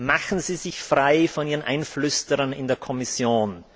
Machen Sie sich frei von Ihren Einflüsterern in der Kommission!